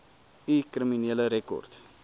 u kriminele rekord